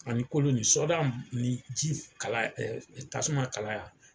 Ani kolo nin sɔda ni ji kala tasuma kalaya.